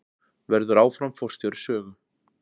Verður áfram forstjóri Sögu